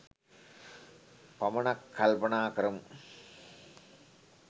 පමණක් කල්පනා කරමු.